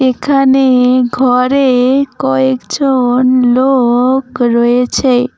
এখানে-এ ঘরে-এ কয়েকজ-অন লো-অক রয়েছে।